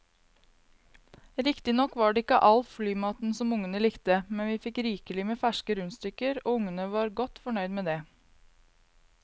Riktignok var det ikke all flymaten som ungene likte, men vi fikk rikelig med ferske rundstykker og ungene var godt fornøyd med det.